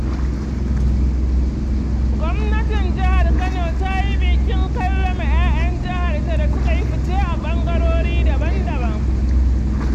Gwamnatin Jhar Kano ta yi bikin karrama ‘ya’yan jihar da suka yi fice a ɓangarori daban-daban.